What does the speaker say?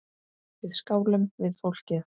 Við skálum við fólkið.